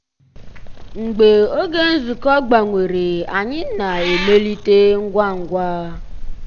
mgbeé ògé nzukọ́ gbànwèrè ànyị́ ná-èmélìté ngwá ngwá.